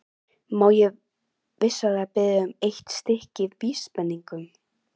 Má ég vinsamlega biðja um eitt stykki vísbendingu?